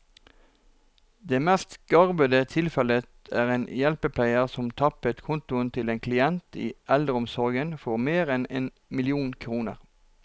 Det mest graverende tilfellet er en hjelpepleier som tappet kontoen til en klient i eldreomsorgen for mer enn én million kroner.